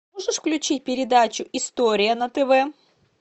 можешь включить передачу история на тв